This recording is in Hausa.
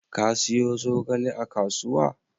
Ka siyo zogale a kasuwa?